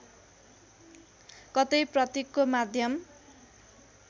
कतै प्रतीकको माध्यम